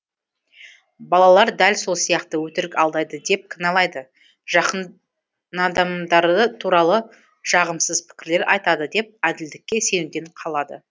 балалар дәл сол сияқты өтірік алдайды деп кіналайды жақынадамдары туралы жағымсыз пікірлер айтады деп әділдікке сенуден қалады